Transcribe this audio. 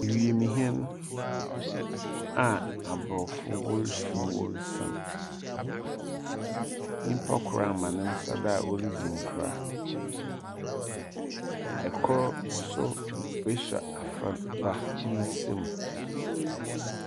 Wiemhɛn a aborɔfo wɔrefiri mu worisian. Nipa kor ama ne nsa do a oridzi nkra. Kor nso asɔ afraba ne nsam.